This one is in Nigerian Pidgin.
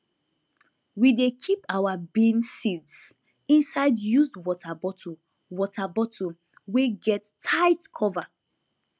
we dey keep our bean seeds inside used water bottle water bottle wey get tight cover